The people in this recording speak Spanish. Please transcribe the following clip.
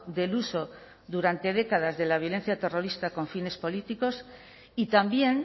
del uso durante décadas de la violencia terrorista con fines políticos y también